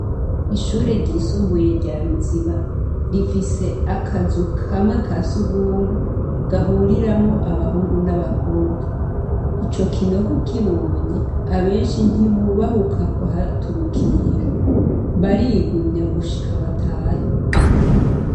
Ishure ry’isumbuye rya Ruziba , rifise akazu kamwe ka sugumwe ,gahuriramwo abahungu n’abakobwa. Ico kinogo ukibonye abenshi ntibubahuka kuhaturukira. Barigumya gushika batahe.